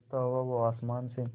गिरता हुआ वो आसमां से